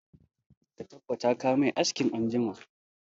Ka tabbata ka mai aski anjima!